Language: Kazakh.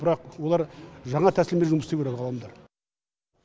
бірақ олар жаңа тәсілмен жұмыс істеу керек ғалымдар